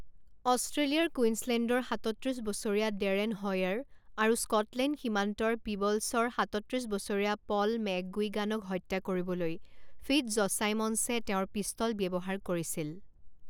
অষ্ট্ৰেলিয়াৰ কুইন্সলেণ্ডৰ সাতত্ৰিছ বছৰীয়া ডেৰেন হ'য়াৰ আৰু স্কটলেণ্ড সীমান্তৰ পিবলছৰ সাতত্ৰিছ বছৰীয়া পল মেকগুইগানক হত্যা কৰিবলৈ ফিটজচাইমন্সে তেওঁৰ পিষ্টল ব্যৱহাৰ কৰিছিল।